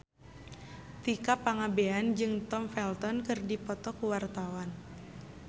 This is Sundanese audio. Tika Pangabean jeung Tom Felton keur dipoto ku wartawan